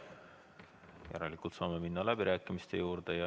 Järelikult saame minna läbirääkimiste juurde.